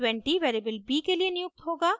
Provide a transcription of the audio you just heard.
20 variable b के लिए नियुक्त होगा